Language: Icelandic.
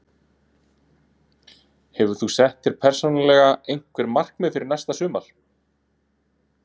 Hefur þú sett þér persónulega einhver markmið fyrir næsta sumar?